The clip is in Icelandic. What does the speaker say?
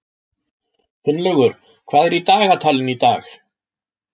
Finnlaugur, hvað er í dagatalinu í dag?